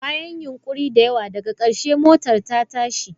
Bayan yunƙuri da yawa, daga ƙarshe motar ta tashi.